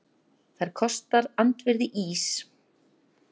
Það kostar andvirði ís